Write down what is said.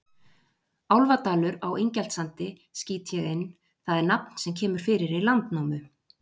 Álfadalur á Ingjaldssandi, skýt ég inn, það er nafn sem kemur fyrir í Landnámu.